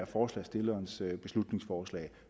forslagsstillerens beslutningsforslag